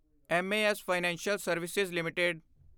M A S financial service LTD